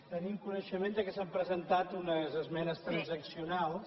tenim coneixement que s’han presentat unes esmenes transaccionals